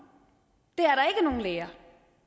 læger